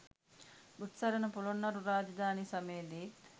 බුත්සරණ පොළොන්නරු රාජධානි සමයේදීත්